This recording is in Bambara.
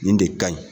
Nin de ka ɲi